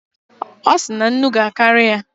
Ọ sị na nnu ga-akarị ya